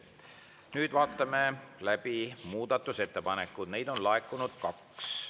Nüüd vaatame läbi muudatusettepanekud, neid on laekunud kaks.